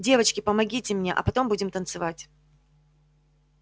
девочки помогите мне а потом будем танцевать